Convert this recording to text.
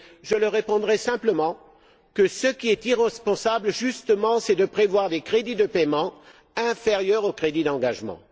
Je leur répondrai simplement que ce qui est irresponsable, justement, c'est de prévoir des crédits de paiement inférieurs aux crédits d'engagement.